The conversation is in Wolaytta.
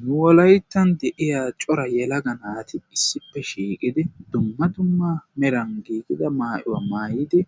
nu wolayttan de'iya cora yelaga naati issippe shiiqidi dumma dumma meran giigida maayuwaa maayidi